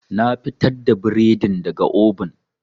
Na fitar da bredin daga oven.